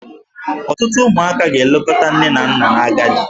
Ọtụtụ ụmụaka ga-elekọta nne na nna n'agadi.